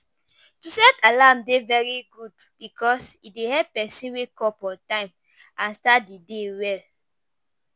To set alarm dey very good because e dey help pesin wake up on time and start di day well.